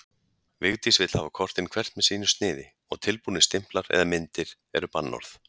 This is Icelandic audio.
Vigdís vill hafa kortin hvert með sínu sniði og tilbúnir stimplar eða myndir eru bannorð.